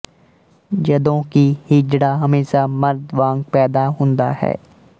ਜਦੋਂ ਕਿ ਹੀਜੜਾ ਹਮੇਸ਼ਾ ਮਰਦ ਵਾਂਗ ਪੈਦਾ ਹੁੰਦਾ ਹੈ